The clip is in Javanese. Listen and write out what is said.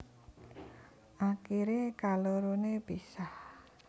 Akiré kaloroné pisah